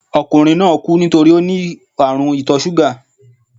Okùnrin náà kú nítorípé óní ààrùn ìtò súgà